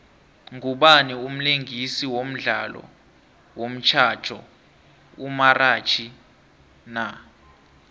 ngubani umlingisi wodlalo womxhatjho omrhatjhi na